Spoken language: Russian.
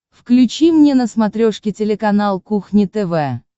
включи мне на смотрешке телеканал кухня тв